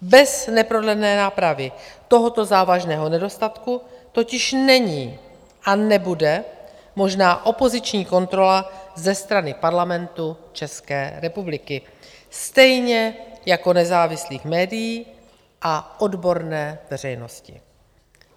Bez neprodlené nápravy tohoto závažného nedostatku totiž není a nebude možná opoziční kontrola ze strany Parlamentu České republiky, stejně jako nezávislých médií a odborné veřejnosti.